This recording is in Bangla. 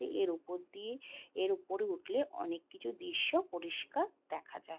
এর উপর দিয়ে এর উপরে উঠলে অনেক কিছু দৃশ্য পরিষ্কার দেখা যাই।